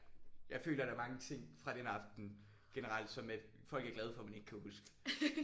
Jeg føler der er mange ting fra den aften generelt som at folk er glade for at man ikke kan huske